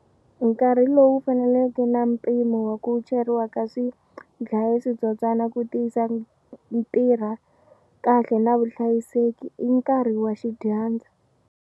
Nkarhi lowu faneleke na mpimo wa ku cheriwa ka swidlaya switsotswana ku tiyisa ntirha kahle na vuhlayiseki i nkarhi wa xidyambu.